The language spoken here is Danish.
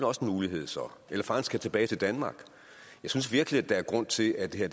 også en mulighed så eller at fangen skal tilbage til danmark jeg synes virkelig at der er grund til at det her